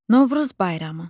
Novruz bayramı.